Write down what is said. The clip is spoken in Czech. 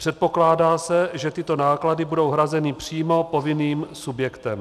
Předpokládá se, že tyto náklady budou hrazeny přímo povinným subjektem.